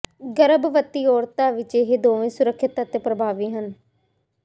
ਗਰਭਵਤੀ ਔਰਤਾਂ ਵਿਚ ਇਹ ਦੋਵੇਂ ਸੁਰੱਖਿਅਤ ਅਤੇ ਪ੍ਰਭਾਵੀ ਹਨ